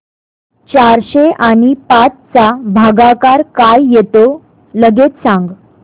चारशे आणि पाच चा भागाकार काय येतो लगेच सांग